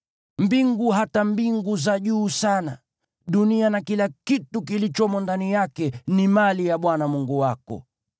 Mbingu, hata mbingu za juu sana, dunia na kila kitu kilichomo ndani yake, ni mali ya Bwana Mungu wako.